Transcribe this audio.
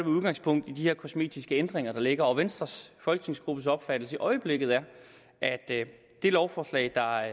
udgangspunkt i de her kosmetiske ændringer der ligger og venstres folketingsgruppes opfattelse i øjeblikket er at det lovforslag der